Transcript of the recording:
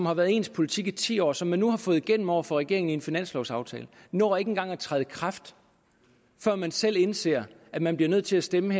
har været ens politik i ti år og som man nu har fået igennem over for regeringen i en finanslovaftale når ikke engang at træde i kraft før man selv indser at man bliver nødt til at stemme